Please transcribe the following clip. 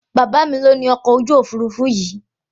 Bàbá mí lo ní ọkọ òfurufú yìí